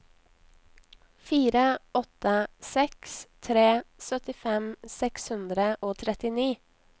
fire åtte seks tre syttifem seks hundre og trettini